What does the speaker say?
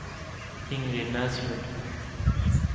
Ingrid Näslund